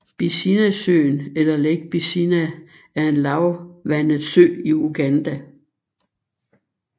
Bisinasøen eller Lake Bisina er en lavvandet sø i Uganda